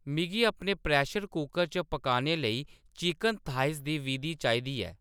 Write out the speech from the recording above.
मिगी अपने pressure cooker च पकाने लेई चिकन थाईस दी विधि चाहिदी ऐ